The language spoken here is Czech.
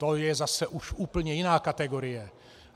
To je zase už úplně jiná kategorie.